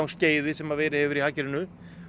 uppgangsskeiði sem verið hefur í hagkerfinu